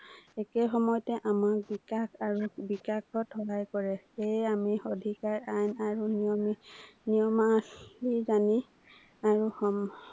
একে সময়তে আমাৰ বিকাশ আৰু বিকাশত সহায় কৰে, সেয়ে আমি অধিকাৰ আইন আৰু নিয়মখিনি জানি আৰু সম